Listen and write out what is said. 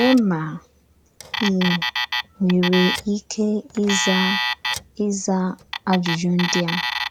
Lèè mà í nwerè íké ízà ízà àjụ́jụ́ ndí a: